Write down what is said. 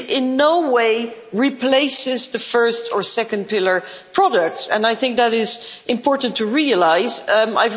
It in no way replaces the first or second pillar products, and I think it is important to realise that.